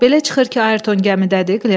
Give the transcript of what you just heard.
Belə çıxır ki, Ayrton gəmidədir?